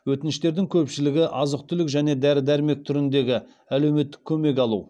өтініштердің көпшілігі азық түлік және дәрі дәрмек түріндегі әлеуметтік көмек алу